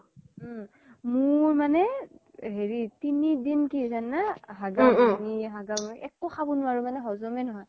উম মোৰ মানে তিনি দিন কি হৈছে জানা না হাগা বমি, হাগা বমি একো খব নুৱাৰো মানে হ্জ্মে নহয়